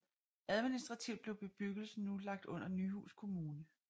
Administrativt blev bebyggelsen nu lagt under Nyhus kommune